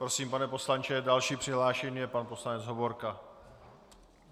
Prosím, pane poslanče, další přihlášený je pan poslanec Hovorka.